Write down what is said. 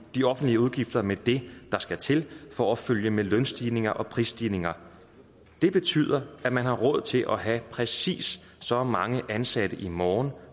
de offentlige udgifter med det der skal til for at følge med lønstigninger og prisstigninger det betyder at man har råd til at have præcist så mange ansatte i morgen